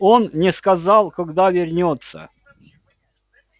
он не сказал когда вернётся